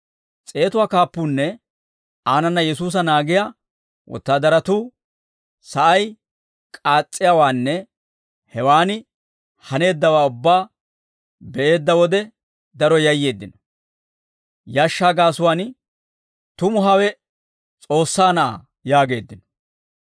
S'eetuwaa kaappuunne aanana Yesuusa naagiyaa wotaadaratuu sa'ay k'aas's'iyaawaanne hewaan haneeddawaa ubbaa be'eedda wode daro yayyeeddino; yashshaa gaasuwaan, «Tumu hawe S'oossaa Na'aa» yaageeddino.